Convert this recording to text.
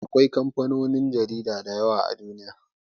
Akwai kamfanonuwan jarida da yawa a Duniya.